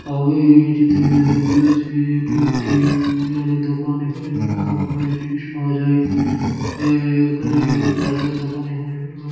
আমি এই চিত্রতে দেখতে পাচ্ছি যে এটি একটি মুনিহারী দোকান এখানে বিভিন্ন রকমের জিনিস পাওয়া যায় আহ এখানের দোকানে এখানে বিভিন্ন রকম--